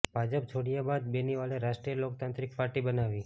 ભાજપ છોડ્યા બાદ બેનીવાલે રાષ્ટ્રિય લોકતાંત્રિક પાર્ટી બનાવી